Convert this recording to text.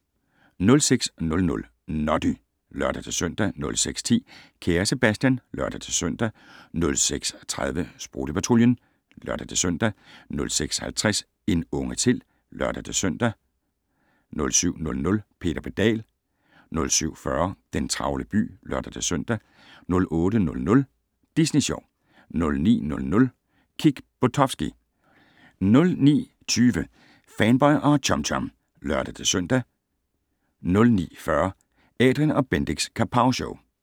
06:00: Noddy (lør-søn) 06:10: Kære Sebastian (lør-søn) 06:30: Sprutte-Patruljen (lør-søn) 06:50: En unge til (lør-søn) 07:00: Peter Pedal 07:40: Den travle by (lør-søn) 08:00: Disney Sjov 09:00: Kick Buttowski 09:20: Fanboy og Chum Chum (lør-søn) 09:40: Adrian & Bendix Kapowshow